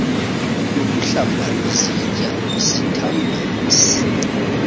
yokuhlamba izitya isithambisi